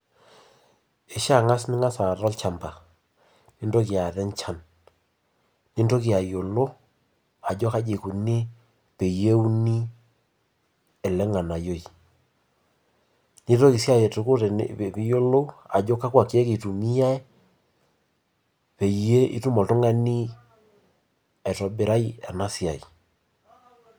Kishia angas ningasa aata olchamba, nintoki aata enchan, nintoki ayiolo ajo kaji ikuni teneuni ele nganayioi. Nitoki sii atoko pee iyiolou ajo kakwa kiek itumiyiai peyie itum oltungani, aitobirai ena siai.